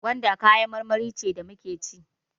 Gwanda kayan marmari ce da muke ci.